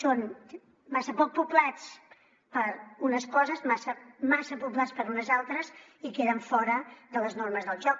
són massa poc poblats per a unes coses massa poblats per a unes altres i queden fora de les normes del joc